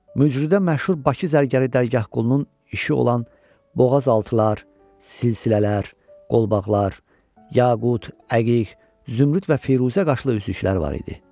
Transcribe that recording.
Mücrüdə məşhur Bakı zərgəri Dərgahqulunun işi olan boğazaltılar, silsilələr, qolbaqlar, yaqut, əqiq, zümrüd və firuzə qaşlı üzüklər var idi.